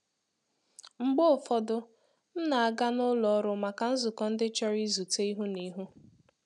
Mgbe ụfọdụ, m na-aga na ụlọ ọrụ màkà nzukọ ndị chọrọ izute ihu na ihu